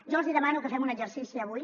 jo els demano que fem un exercici avui